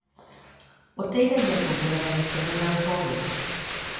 Ũteithagia kuongerera gĩkeno na ũhoreru.